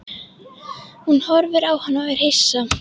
Hún horfir á hann og er hissa.